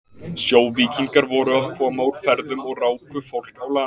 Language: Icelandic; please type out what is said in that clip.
Sjóvíkingar voru að koma úr ferðum og ráku fólk á land.